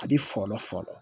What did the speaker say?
A bɛ fɔlɔ